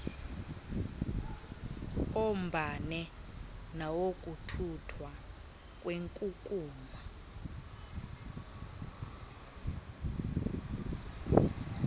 ombane nawokuthuthwa kwenkukuma